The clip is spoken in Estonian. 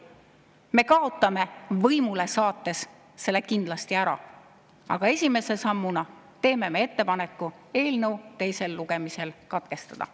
Me kaotame võimule saades selle maksu kindlasti ära, aga esimese sammuna teeme ettepaneku eelnõu menetlus teisel lugemisel katkestada.